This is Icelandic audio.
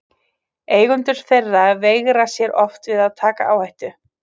Eigendur þeirra veigra sér oft við að taka áhættu.